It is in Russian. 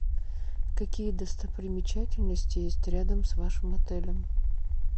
какие достопримечательности есть рядом с вашим отелем